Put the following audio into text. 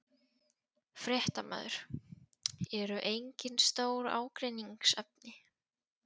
Fréttamaður: Eru engin stór ágreiningsefni?